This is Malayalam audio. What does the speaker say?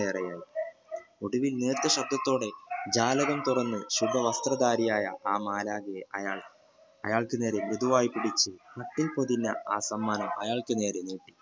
ഒടുവിൽ നീര്തശബ്ദത്തോടെ ജ്വാലകം തുറന്നു ശുദ്ധ വസ്ത്രധാരിയായ ആ മാലാഖയെ അയാൾ അയാൾക്കു നേരെ മൃദുവായി പിടിക്കു പട്ടിൽ പൊദിന ആ സമ്മാനം അയാൾക്കു നേരെ നീട്ടി